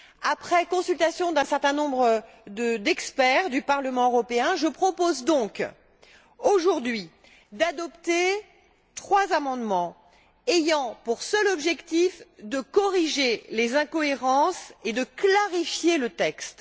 Après consultation d'un certain nombre d'experts du Parlement européen, je propose donc, aujourd'hui, d'adopter trois amendements ayant pour seul objectif de corriger les incohérences et de clarifier le texte.